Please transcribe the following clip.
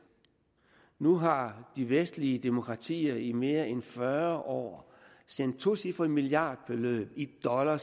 nu har de vestlige demokratier i mere end fyrre år sendt tocifrede milliardbeløb i dollar